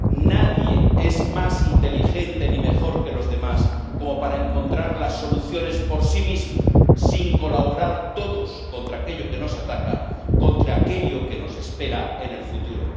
Nadie es más inteligente ni mejor que los demás como para encontrar las soluciones por sí mismo, sin colaborar todos contra aquello que nos ataca, contra aquello que nos espera en el futuro.